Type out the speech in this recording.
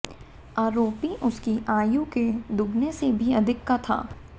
आरोपी उसकी आयु के दोगुने से भी अधिक का था